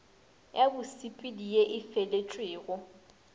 ya bosepedi ye e feletšwego